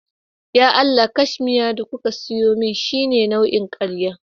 Ya Allah! cashmiya da kuka siyo min shine nau'in karya